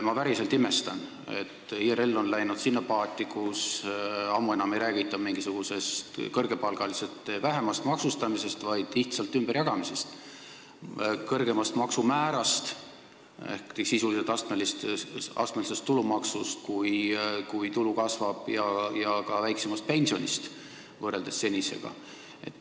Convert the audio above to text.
Ma päriselt imestan, et IRL on läinud sinna paati, kus ammu enam ei räägita mingisugusest kõrgepalgaliste vähemast maksustamisest, vaid lihtsalt raha ümberjagamisest, kõrgemast maksumäärast, kui tulu kasvab, ehk sisuliselt astmelisest tulumaksust ja ka väiksemast pensionist kui praegu.